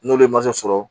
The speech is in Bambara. N'olu ye sɔrɔ